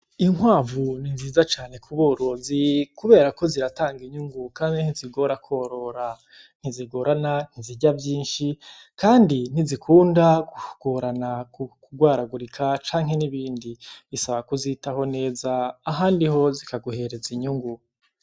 Inkwavu ni nziza cane kuborozi kubera ko ziratanga inyungu kandi ntizigora kworora ntizigorana ntizirya vyinshi kandi ntizikunda kugorana kugwaragurika canke nibindi bisaba k'uzitaho neza ahandi ho zikaguhereza inyungu.